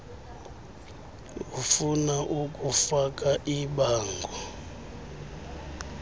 ufuna ukufaka ibango